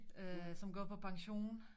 Øh som går på pension